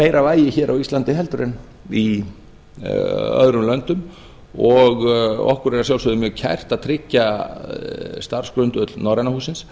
meira vægi hér á íslandi heldur en öðrum löndum og okkur er að sjálfsögðu mjög kært að tryggja starfsgrundvöll norræna hússins